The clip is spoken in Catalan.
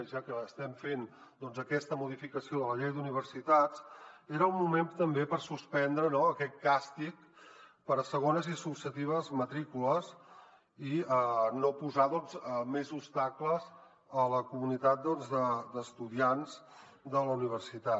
ja que estem fent aquesta modificació de la llei d’universitats era un moment també per suspendre aquest càstig per a segones i successives matrícules i no posar més obstacles a la comunitat d’estudiants de la universitat